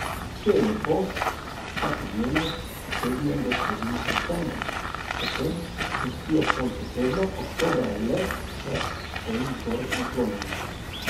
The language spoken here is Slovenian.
Če je lepo, vsakodnevnost potegnejo do sredine septembra, potem gostijo ob koncu tedna, oktobra le, če so jim zgoraj naklonjeni.